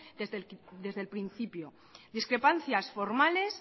desde el principio discrepancias formales